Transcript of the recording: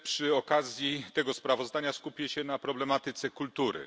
Przy okazji tego sprawozdania skupię się na problematyce kultury.